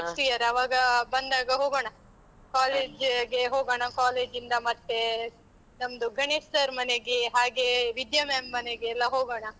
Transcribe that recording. Next year ಆವಾಗ ಬಂದಾಗ ಹೋಗೋಣ, college ಗೆ ಹೋಗೋಣ, college ಇಂದ ಮತ್ತೇ ನಮ್ದು ಗಣೇಶ್ sir ಮನೆಗೆ, ಹಾಗೇ ವಿದ್ಯಾ ma'am ಮನೆಗೆಲ್ಲ ಹೋಗೋಣ.